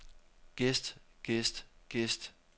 gæst gæst gæst